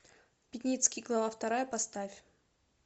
пятницкий глава вторая поставь